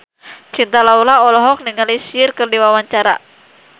Cinta Laura olohok ningali Cher keur diwawancara